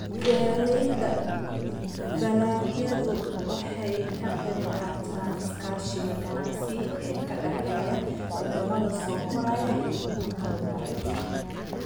Beeralayda dalagyadu waxay ka qayb qaataan iskaashiga ganacsi ee u dhexeeya wadamada soo koraya iyo kuwa horumaray.